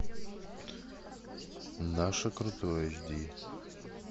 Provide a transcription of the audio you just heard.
наше крутое эйч ди